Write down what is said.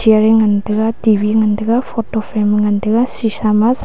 chair ngantaga T_V ye ngantaga photo frame ngantaga sheesha ma.